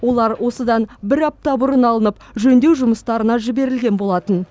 олар осыдан бір апта бұрын алынып жөндеу жұмыстарына жіберілген болатын